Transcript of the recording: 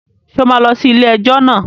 Ṣé o máa lọ sí ilé-ẹjọ́ náà?